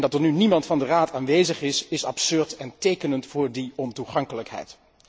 Dat er nu niemand van de Raad aanwezig is, is absurd en tekenend voor die ontoegankelijkheid.